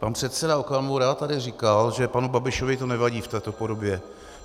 Pan předseda Okamura tady říkal, že panu Babišovi to nevadí v této podobě.